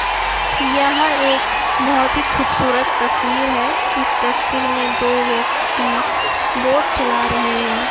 यह एक बहुत ही खूबसूरत तस्वीर है इस तस्वीर में दो व्यक्ति बोट चला रहे हैं।